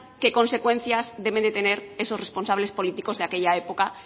qué consecuencias deben de tener esos responsables políticos de aquella época